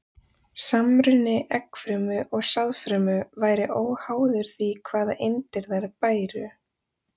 Samruni eggfrumu og sáðfrumu væri óháður því hvaða eindir þær bæru.